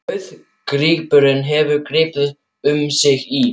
Dauðadýrkun hefur gripið um sig í